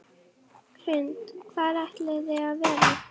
Hrund: Hvar ætlið þið að vera?